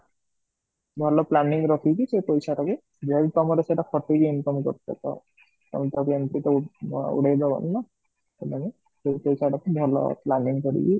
ଭଲ planning ରଖିକି ସେ ପଇସାଟାକୁ main କମ ରେ ଟାକୁ ଖଟେଇକି income କରୁଛ ତ ଆଉ ଟିକୁ ଉଡେଇ ଦବନି ନା, ସେ ପଇସାଟାକୁ ଭଲ planning କରିକି